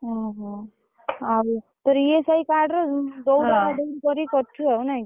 ଓହୋ ଆଉ ତୋର ESI card ରେ ଦଉଡା ଦଉଡି କରିକି କରିଛୁ ଆଉ ନାଇଁ କି।